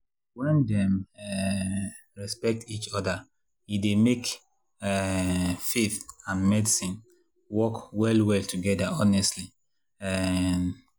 when dem um respect each other e dey make um faith and medicine work well well together honestly. um